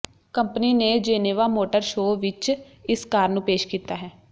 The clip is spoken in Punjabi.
ਕੰਪਨੀ ਨੇ ਜੇਨੇਵਾ ਮੋਟਰ ਸ਼ੋ ਵਿੱਚ ਇਸ ਕਾਰ ਨੂੰ ਪੇਸ਼ ਕੀਤਾ ਹੈ